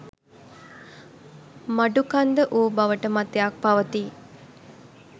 මඩුකන්ද වූ බවට මතයක් පවතී